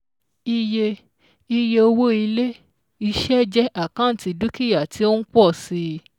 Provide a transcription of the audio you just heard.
Iye Iye owó Ilé-iṣẹ̀ jẹ́ àkántì dúkìá tí ó ń pọ̀ si